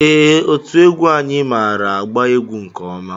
Ee, otú egwu anyị maara agba egwú nke ọma.